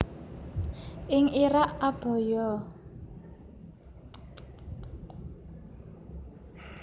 Ing Irak abaya